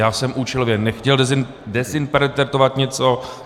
Já jsem účelově nechtěl dezinterpretovat něco.